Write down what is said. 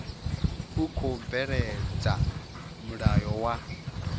u khou bveledza mulayo wa